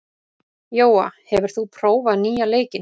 Jóa, hefur þú prófað nýja leikinn?